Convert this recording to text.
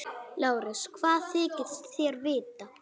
LÁRUS: Hvað þykist þér vita?